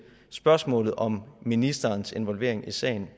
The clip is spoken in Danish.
spørgsmålet om ministerens involvering i sagen